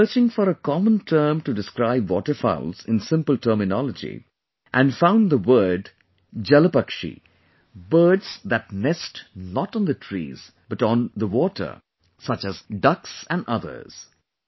I was searching for a common term to describe Waterfowls in simple terminology, and found the word Jalpakshi Birds that nest not on the trees but on the water, such as ducks and others